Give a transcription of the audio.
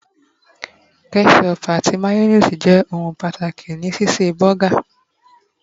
ketchup ati mayonnaise je oun pàtàkì ni ṣíṣe burger